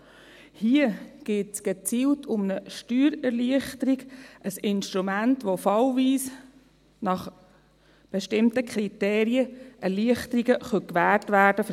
Hier geht es gezielt um eine Steuererleichterung, ein Instrument, mit dem fallweise nach bestimmten Kriterien für Firmen Erleichterungen gewährt werden können.